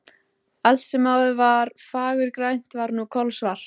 Allt sem áður var fagurgrænt var nú kolsvart.